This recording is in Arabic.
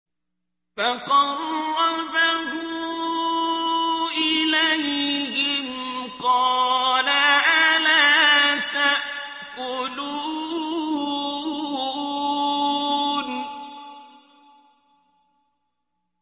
فَقَرَّبَهُ إِلَيْهِمْ قَالَ أَلَا تَأْكُلُونَ